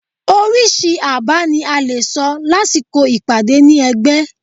oríṣi àbá ní a lẹ sọ lásìkò ìpàdé ni ẹgbẹ